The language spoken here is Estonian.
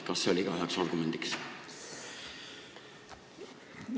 Kas see oli ka üks argument?